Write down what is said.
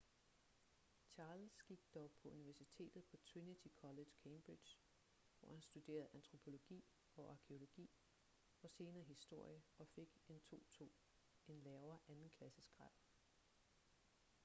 charles gik dog på universitetet på trinity college cambridge hvor han studerede antropologi og arkæologi og senere historie og fik en 2:2 en lavere andenklassesgrad